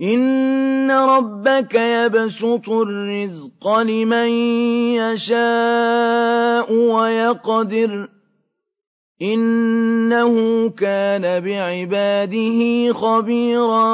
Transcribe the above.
إِنَّ رَبَّكَ يَبْسُطُ الرِّزْقَ لِمَن يَشَاءُ وَيَقْدِرُ ۚ إِنَّهُ كَانَ بِعِبَادِهِ خَبِيرًا